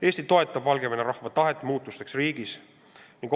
Eesti toetab Valgevene rahva tahet kutsuda riigis esile muutused.